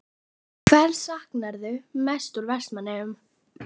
Hvers saknarðu mest úr Vestmannaeyjum?